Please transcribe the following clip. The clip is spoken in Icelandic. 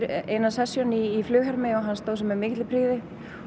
eina session í flughermi og hann stóð sig með mikilli prýði